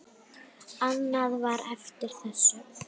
Annað var eftir þessu.